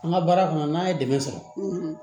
An ka baara kɔnɔ n'an ye dɛmɛ sɔrɔ